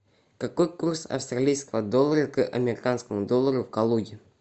какой курс австралийского доллара к американскому доллару в калуге